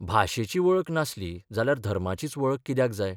भाशेची वळख नासली जाल्यार धर्माचीच वळख कित्याक जाय?